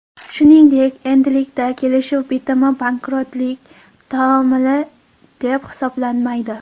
Shuningdek, endilikda kelishuv bitimi bankrotlik taomili deb hisoblanmaydi.